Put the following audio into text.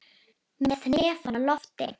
Með hnefann á lofti.